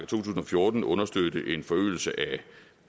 tusind og fjorten understøtte en forøgelse af